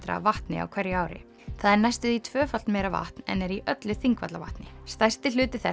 af vatni á hverju ári það er næstum því tvöfalt meira vatn en er í öllu Þingvallavatni stærsti hluti þess